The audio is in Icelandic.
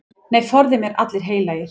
Nei, forði mér allir heilagir.